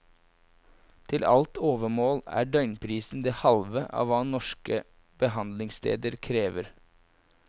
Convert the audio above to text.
Til alt overmål er døgnprisen det halve av hva norske behandlingssteder krever.